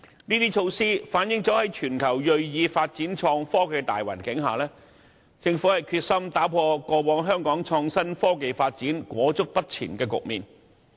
這些措施反映政府在全球銳意發展創科的大環境下，決心打破香港過往在創新科技發展方面裹足不前的局面。